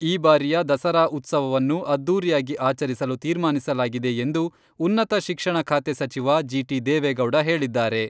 ಈ ಬಾರಿಯ ದಸರಾ ಉತ್ಸವವನ್ನು ಅದ್ದೂರಿಯಾಗಿ ಆಚರಿಸಲು ತೀರ್ಮಾನಿಸಲಾಗಿದೆ ಎಂದು ಉನ್ನತ ಶಿಕ್ಷಣ ಖಾತೆ ಸಚಿವ ಜಿ.ಟಿ.ದೇವೇಗೌಡ ಹೇಳಿದ್ದಾರೆ.